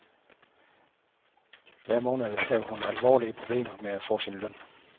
Hver måned havde hun alverdens problemer med at få sin løn.